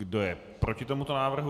Kdo je proti tomuto návrhu?